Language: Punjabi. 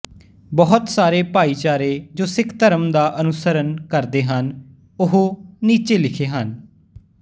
ਬਹੁਤ ਸਾਰੇ ਭਾਈਚਾਰੇ ਜੋ ਸਿਖ ਧਰਮ ਦਾ ਅਨੁਸਰਣ ਕਰਦੇ ਹਨ ਓਹ ਨੀਚੇ ਲਿਖੇ ਹਨ